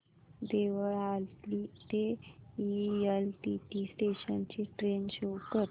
देवळाली ते LTT station ची train show कर